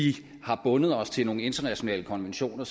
vi har bundet os til nogle internationale konventioner